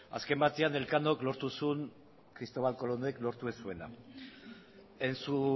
azken batean elkanok lortu zuen kristobal kolonek lortu ez zuena en su